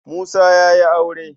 Musa ya yi aure.